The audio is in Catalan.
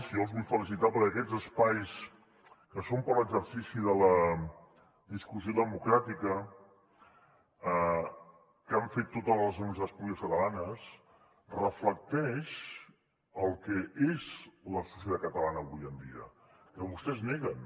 jo els vull felicitar perquè aquests espais que són per a l’exercici de la discussió democràtica que han fet totes les universitats públiques catalanes reflecteixen el que és la societat catalana avui en dia que vostès neguen